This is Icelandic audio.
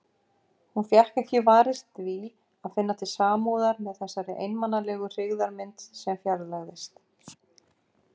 Hún fékk ekki varist því að finna til samúðar með þessari einmanalegu hryggðarmynd sem fjarlægðist.